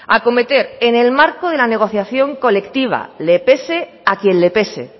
acometer en el marco de la negociación colectiva le pese a quien le pese